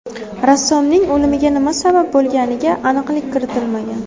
Rassomning o‘limiga nima sabab bo‘lganiga aniqlik kiritilmagan.